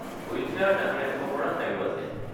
Wheel chair জাপি ৰাখিব পৰা ঠাইও আছে।